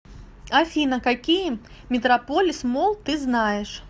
афина какие метрополис молл ты знаешь